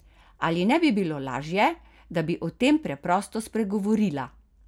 Ali ne bi bilo najlaže, da bi o tem preprosto spregovorila?